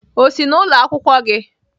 O si n'ụlọ akwụkwọ gị?